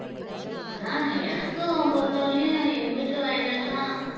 ஆஹ் எனக்கும் பொருத்தவரைலையும் எங்க வீட்டு வயல்லலாம்